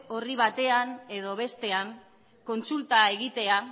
orri batean edo bestean kontsulta egitea